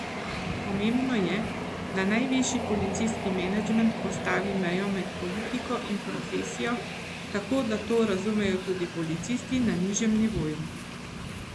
Pomembno je, da najvišji policijski menedžment postavi mejo med politiko in profesijo, tako da to razumejo tudi policisti na nižjem nivoju.